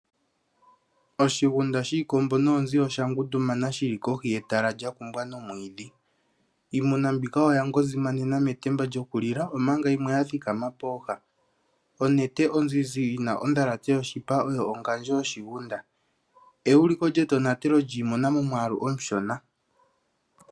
Oshigunda shiikombo noonzi osha ngundumana shili kohi yetala lya kumbwa nomwiidhi. Iimuna mbika oya petamena metemba lyokulila omanga yimwe ya thikama pooha. Onete onzizi yina ondhalate yoshipa oyo ongandjo yoshigunda shika osho euliko lyetonatelo momwaalu omushona.